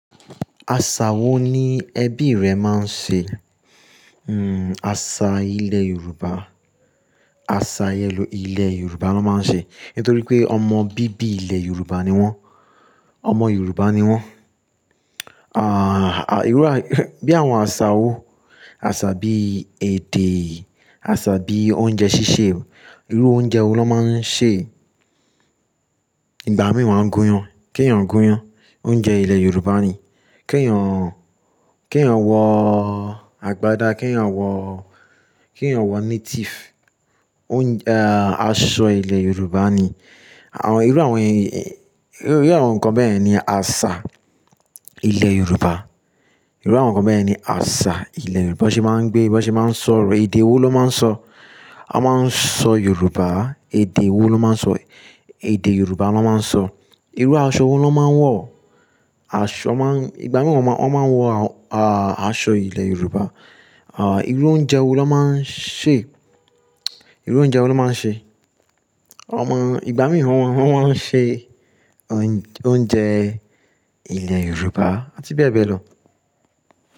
Àṣà wo ni ẹbí rẹ máa ń ṣe? Hmm àṣà ilẹ̀ Yorùbá, àṣà ilẹ̀ Yorùbá ló máa ń ṣe. Nítorí pé ọmọ bíbí ilẹ̀ Yorùbá ni wọ́n, ọmọ Yorùbá ni wọ́n. À, bí àwọn àṣà wo, àṣà bí èdè, àṣà bí oúnjẹ ṣíṣe. Irú oúnjẹ wo ló máa ń sè? Ìgbà mìíràn wọ́n máa ń gúnyán. Kí ń yàn gúnyán? Oúnjẹ ilẹ̀ Yorùbá ni. Kí ń yàn, kí ń yàn wọ àgbàdá, kí ń yàn wọ, kí ń yàn wọ native. Oúnjẹ, aṣọ ilẹ̀ Yorùbá ni. Àwọn, irú àwọn ẹni, irú àwọn nǹkan bẹ́ẹ̀ ni àṣà ilẹ̀ Yorùbá. Irú àwọn nǹkan bẹ́ẹ̀ ni àṣà ilẹ̀ Yorùbá. Bí wọ́n ṣe máa ń gbé, bí wọ́n ṣe máa ń sọ̀rọ̀, èdè wo ló máa ń sọ? A máa ń sọ Yorùbá. Èdè wo ló máa ń sọ? Èdè Yorùbá ló máa ń sọ. Irú aṣọ wo ló máa ń wọ̀? Aṣọ máa ń, ìgbà mìíràn wọ́n máa ń wọ, aṣọ ilẹ̀ Yorùbá. À irú oúnjẹ wo ló máa ń sè? Irú oúnjẹ wo ló máa ń sè? Wọ́n máa ń, ìgbà mìíràn wọ́n máa ń sè oúnjẹ ilẹ̀ Yorùbá àti bẹ́ẹ̀ bẹ́ẹ̀ lọ.